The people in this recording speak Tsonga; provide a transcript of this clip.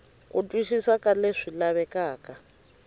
ku twisisa ka leswi lavekaka